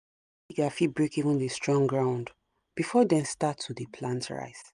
digger fit break even the strong ground before dem start to de plant rice.